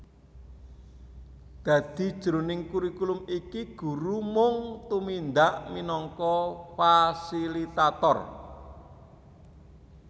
Dadi jroning kurikulum iki guru mung tumindak minangka fasilitator